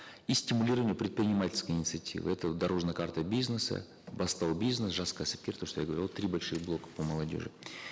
и стимулирование предпринимательской инициативы это дорожная карта бизнеса бастау бизнес жас кәсіпкер то что я говорил три больших блока по молодежи